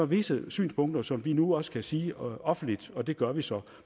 visse synspunkter som vi nu også kan sige offentligt og det gør vi så